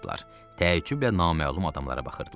Təəcüblə naməlum adamlara baxırdılar.